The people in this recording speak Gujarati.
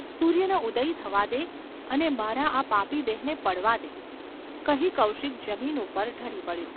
સૂર્યનો ઉદય થવા દે અને મારા આ પાપી દેહને પડવા દે !’ કહી કૌશિક જમીન ઉપર ઢળી પડ્યો.